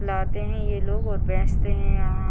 लाते है ये लोग और बेचते है यहाँ।